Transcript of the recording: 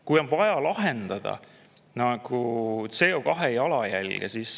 Jah, on vaja lahendada CO2 jalajälge.